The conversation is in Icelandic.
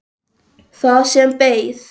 Það sem beið.